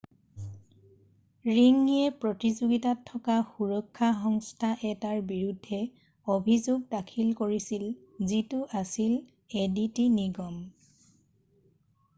ৰিংয়ে প্ৰতিযোগিতাত থকা সুৰক্ষা সংস্থা এটাৰ বিৰুদ্ধে অভিযোগ দাখিল কৰিছিল যিটো আছিল এডিটি নিগম